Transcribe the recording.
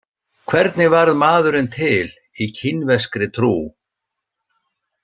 Hvernig varð maðurinn til í kínverskri trú?